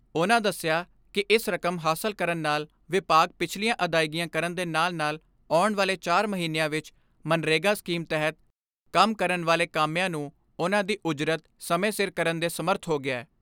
ਉਨ੍ਹਾਂ ਦਸਿਆ ਕਿ ਇਸ ਰਕਮ ਹਾਸਲ ਕਰਨ ਨਾਲ ਵਿਭਾਗ ਪਿਛਲੀਆਂ ਅਦਾਇਗੀਆਂ ਕਰਨ ਦੇ ਨਾਲ ਨਾਲ ਆਉਣ ਵਾਲੇ ਚਾਰ ਮਹੀਨਿਆਂ ਵਿਚ ਮਗਨਰੇਗਾ ਸਕੀਮ ਤਹਿਤ ਕੰਮ ਕਰਨ ਵਾਲੇ ਕਾਮਿਆਂ ਨੂੰ ਉਨ੍ਹਾਂ ਦੀ ਉਜਰਤ ਸਮੇਂ ਸਿਰ ਕਰਨ ਦੇ ਸਮਰੱਥ ਹੋ ਗਿਐ।